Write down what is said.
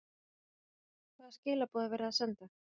Hvaða skilaboð er verið að senda?